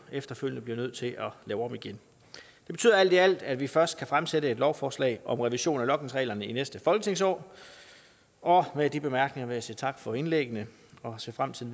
efterfølgende bliver nødt til at lave om igen det betyder alt i alt at vi først kan fremsætte et lovforslag om revision af logningsreglerne i næste folketingsår og med de bemærkninger vil jeg sige tak for indlæggene og ser frem til